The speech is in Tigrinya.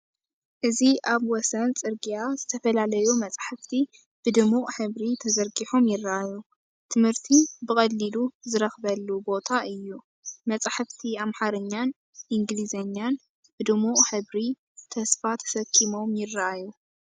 እዚ ኣብ ወሰን ጽርግያ ዝተፈላለዩ መጻሕፍቲ ብድሙቕ ሕብሪ ተዘርጊሖም ይራኣዩ፤ ትምህርቲ ብቐሊሉ ዝረኽበሉ ቦታ እዩ። መጻሕፍቲ ኣምሓርኛን እንግሊዝኛን ብድሙቕ ሕብሪ፡ ተስፋ ተሰኪሞም ይራኣዩ።